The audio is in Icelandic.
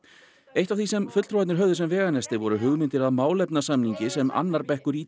eitt af því sem fulltrúarnir höfðu sem veganesti voru hugmyndir að málefnasamningi sem annar bekkur í